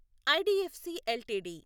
IDFC LTD